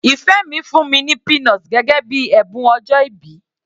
Ìfẹ́ mi fún mi ní peanut gẹ́gẹ́ bíi ẹ̀bùn ọjọ́ìbí.